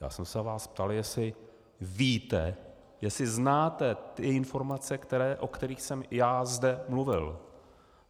Já jsem se vás ptal, jestli víte, jestli znáte ty informace, o kterých jsem já zde mluvil.